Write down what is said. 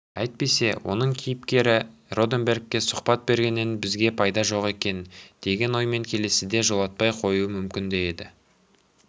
әйтпесе оның кейіпкері роденбергке сұхбат бергеннен бізге пайда жоқ екен деген оймен келесіде жолатпай қоюы да мүмкін еді